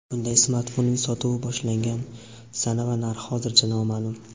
Bunday smartfonning sotuvi boshlangan sana va narxi hozircha noma’lum.